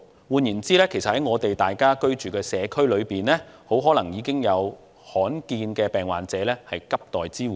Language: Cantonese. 換言之，在我們居住的社區中，很可能已有罕見疾病患者正急待支援。